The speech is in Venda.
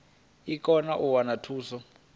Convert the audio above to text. i kone u wana thuso